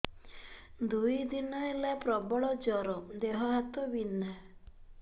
ଦୁଇ ଦିନ ହେଲା ପ୍ରବଳ ଜର ଦେହ ହାତ ବିନ୍ଧା